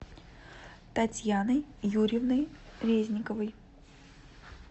татьяной юрьевной резниковой